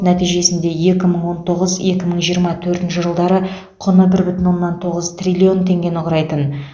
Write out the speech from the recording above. нәтижесінде екі мың он тоғыз екі мың жиырма төртінші жылдары құны бір бүтін оннан тоғыз триллион теңгені құрайтын